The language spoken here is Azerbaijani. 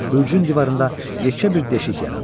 Bürcün divarında yekə bir deşik yarandı.